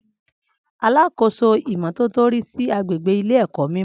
Alákóso ìmọ́tótó rí sí agbègbè ilé èkó mimo